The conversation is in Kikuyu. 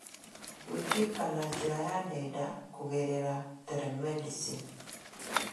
gwĩkĩka na njĩra ya nenda, kũgerera telemedicine.